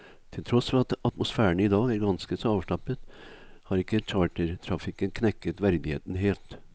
Til tross for at atmosfæren idag er ganske så avslappet, har ikke chartertrafikken knekket verdigheten helt.